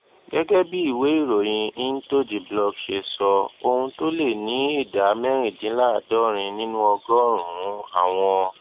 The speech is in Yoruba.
gégé bí ìwé ìròyìn intothe block ṣe sọ ohun tó lé ní ìdá mẹrìndínláàádórin nínú ọgórùnún àwọn